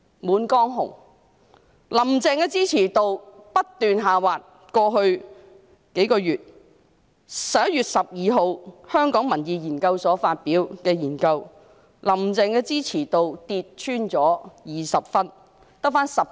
在過去幾個月，"林鄭"的支持度不斷下滑，香港民意研究所在11月12日發表報告，"林鄭"的支持度跌穿20分，只有 19.7 分。